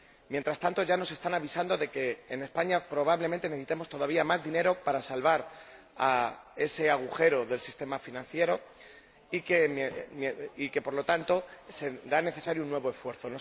Mientras tanto, ya nos están avisando de que en España probablemente necesitemos todavía más dinero para salvar ese agujero del sistema financiero y que, por lo tanto, será necesario un nuevo esfuerzo.